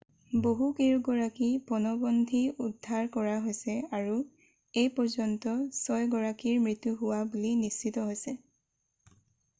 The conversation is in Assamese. বহুকেইগৰাকী পণবন্ধী উদ্ধাৰ কৰা হৈছে আৰু এইপৰ্যন্ত ছয়গৰাকীৰ মৃ্ত্যু হোৱা বুলি নিশ্চিত হৈছে